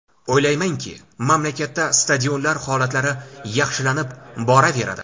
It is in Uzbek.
O‘ylaymanki, mamlakatda stadionlar holatlari yaxshilanib boraveradi.